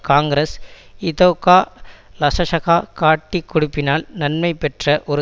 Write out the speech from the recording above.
காங்கிரஸ் இதொகா லசசக காட்டிக் கொடுப்பினால் நன்மை பெற்ற ஒரு